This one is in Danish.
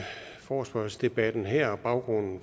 forespørgselsdebatten her og baggrunden